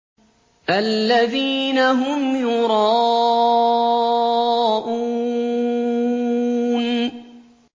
الَّذِينَ هُمْ يُرَاءُونَ